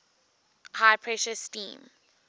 high pressure steam